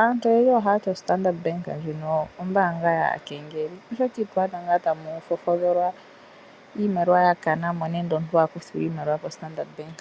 Aantu oyendji ohaya ti oStandard Bank ndjino ombaanga yaakengeli, oshoka ito adha tamu fofodholwa iimaliwa ya kana mo nenge omuntu a kuthwa iimaliwa koStandard Bank.